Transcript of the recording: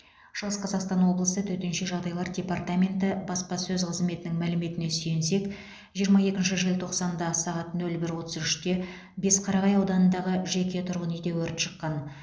шығыс қазақстан облысы төтенше жағдайлар департаменті баспасөз қызметінің мәліметіне сүйенсек жиырма екінші желтоқсанда сағат нөл бір отыз үште бесқарағай ауданындағы жеке тұрғын үйде өрт шыққан